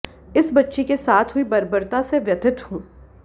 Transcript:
इस बच्ची के साथ हुई बर्बरता से व्यथित हूं